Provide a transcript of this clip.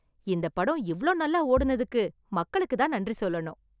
இந்தப்படம் இவ்ளோ நல்லா ஓடுனதுக்கு மக்களுக்கு தான் நன்றி சொல்லணும்.